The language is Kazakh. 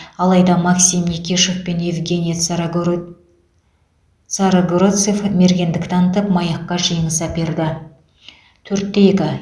алайда максим никишов пен евгений царогоро царогородцев мергендік танытып маякка жеңіс әперді төрт те екі